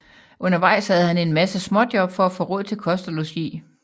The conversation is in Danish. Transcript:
Undervejs havde han en masse småjob for at få råd til kost og logi